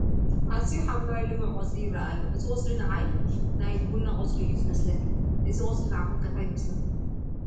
ኣዝዩ ሓምለዋይ ልሙዕ ቆፅሊ ይርአ ኣሎ፡፡ እዚ ቆፅሊ ንዓይ ናይ ቢና ቆፅሊ እዩ ዝመስለኒ፡፡ እዚ ቆፅሊ ንዓኹም ከ እንታይ ይመስለኩም?